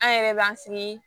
An yɛrɛ b'an sigi